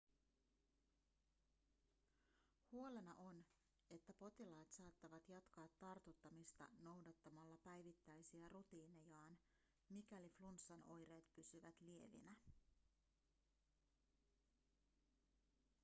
huolena on että potilaat saattavat jatkaa tartuttamista noudattamalla päivittäisiä rutiinejaan mikäli flunssan oireet pysyvät lievinä